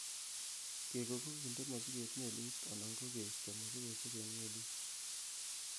kegoo ko kinde mosiget melit anan ko keisto mosigosiek en melisiek.